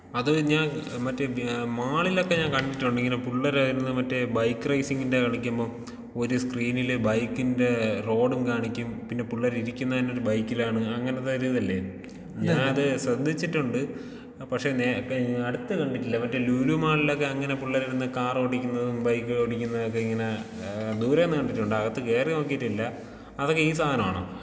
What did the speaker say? അത് ഞാൻ മറ്റേ ഏഹ് മാളിലൊക്കെ ഞാൻ കണ്ടിട്ടുണ്ട് ഇങ്ങനെ പുള്ളേര് മറ്റേ ബൈക്ക് റൈസിങ്ങിന്റെ കളിക്കുമ്പം ഒരു സ് ക്രീനില് ബൈക്കിന്റെ റോഡും കാണിക്കും പിന്നെ പുള്ളേര് ഇരിക്കുന്നത് ഒരു ബൈക്കിലാണ്. അങ്ങനത്തെ ഒരിതല്ലേ? ഞാനത് ശ്രദ്ധിച്ചിട്ടുണ്ട് പക്ഷേ നേരെ അടുത്ത് കണ്ടിട്ടില്ല.മറ്റേ ലൂലൂ മാളിലൊക്കെ അങ്ങനെ പുള്ളേര് ഇരുന്ന് കാറോടിക്കുന്നതും ബൈക്ക് ഓടിക്കുന്നതൊക്കെ ഇങ്ങനെ ഏഹ് ദൂരേന്ന് കണ്ടിട്ടുണ്ട് അകത്ത് കേറി നോക്കിയിട്ടില്ലാ.അതൊക്കെ ഈ സാധനമാണോ?